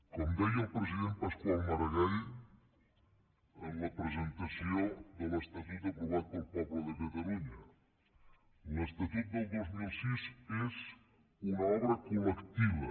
com deia el president pasqual maragall en la presentació de l’estatut aprovat pel poble de catalunya l’estatut del dos mil sis és una obra col·lectiva